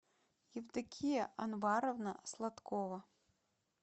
евдокия анваровна сладкова